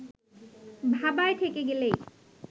ভাবায় ঠেকে গেলেই